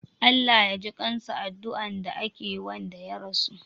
"Allah Ya jikansa" adduan da ake Wanda ya rasu